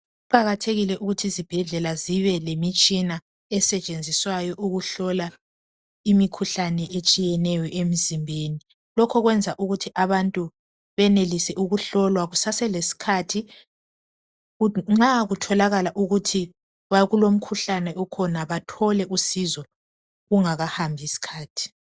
Kuqakathekile ukuthi izibhedlela zibe lemitshina esetshenziswayo ukuhlola imikhuhlane etshiyeneyo emzimbeni. Lokho kwenza ukuthi abantu benelise ukuhlolwa kusaselesikhathi nxa kutholakala ukuthi kulomikhuhlane okhona bathole usizo kungakahambi isikhathi.